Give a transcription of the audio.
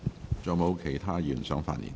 是否有其他議員想發言？